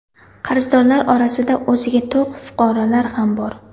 Qarzdorlar orasida o‘ziga to‘q fuqarolar ham bor.